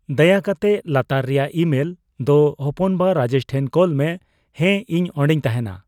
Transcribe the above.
ᱫᱟᱭᱟ ᱠᱟᱛᱮ ᱞᱟᱛᱟᱨ ᱨᱮᱭᱟᱜ ᱤᱼᱢᱮᱞ ᱫᱚ ᱦᱚᱯᱚᱱ ᱵᱟ ᱨᱟᱡᱮᱥ ᱴᱷᱮᱱ ᱠᱳᱞ ᱢᱮ ᱦᱮᱸ ᱤᱧ ᱚᱸᱰᱮᱧ ᱛᱟᱸᱦᱮᱱᱟ